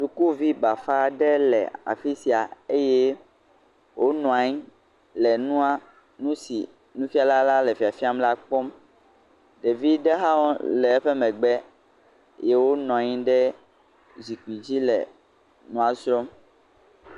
Sukuvi bafa aɖe le afi sia eye wònɔ anyi le nua..nu si nufiala la le fiafiam la kpɔm. Ɖevi ɖe hã le eƒe megbe eye wònɔ anyi ɖe zikpui dzi le nua srɔ̃m.